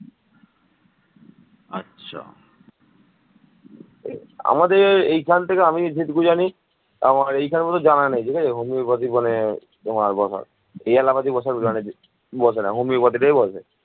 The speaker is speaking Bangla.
মানবসম্পদ ও পোশাকশিল্পে অগ্রগতির মাধ্যমে বর্তমানে বাংলাদেশ দক্ষিণ এশিয়ার দ্বিতীয় শীর্ষ অর্থনৈতিক শক্তিতে পরিণত হয়ে সমগ্র বিশ্বে বিস্ময়ের সৃষ্টি করেছে